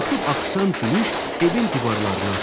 Axıb axışan gülüş evin divarlarını aşdı.